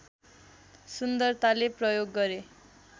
सुन्दरताले प्रयोग गरे